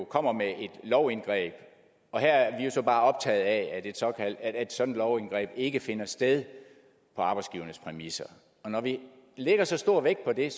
kommer med et lovindgreb og her er vi jo så bare optaget af at et sådant lovindgreb ikke finder sted på arbejdsgivernes præmisser når vi lægger så stor vægt på det er